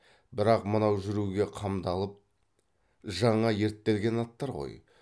бірақ мынау жүруге қамдалып жаңа ерттелген аттар ғой